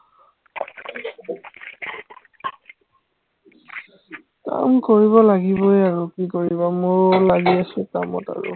কাম কৰিব লাগিবই আৰু কি কৰিবা মইও লাগি আছো কামত আৰু